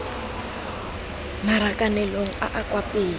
marakanelong a a kwa pele